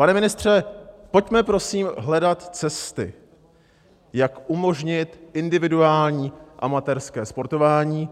Pane ministře, pojďme prosím hledat cesty, jak umožnit individuální amatérské sportování,